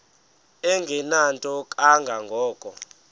engenanto kanga ko